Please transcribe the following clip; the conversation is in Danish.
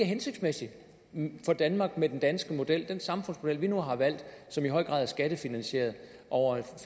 hensigtsmæssigt for danmark med den danske model den samfundsmodel vi nu har valgt som i høj grad er skattefinansieret over et